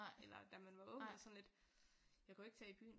Eller da man var ung eller sådan lidt jeg kan jo ikke tage i byen